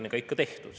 Austatud aseesimees!